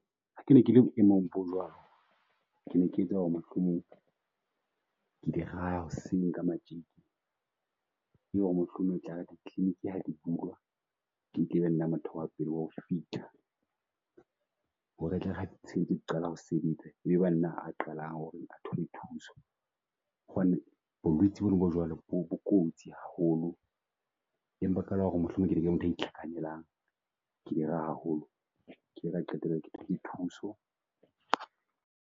Ha ke ne ke le boemong bo jwalo, ke ne ke etsa ho re mohlomong ke di raha hoseng ka matjeke ho re mohlomong e tlare di-clinic ha ke bulwa e mpe e be motho wa pele wa ho fihla. Ho re e tle ere ha di qala ho sebetsa e be ba nna a qalang ho re a thole thuso. Hobane bolwetsi bo no bo jwalo bo bo kotsi haholo. Empa fela ho re mohlomong e be ntho e itlhakanelang haholo. Ke ile ka qetela ke thotse thuso.